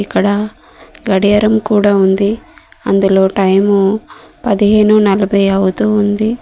ఇక్కడ గడియారం కూడా ఉంది అందులో టైము పదిహేను నలభై అవుతూ ఉంది.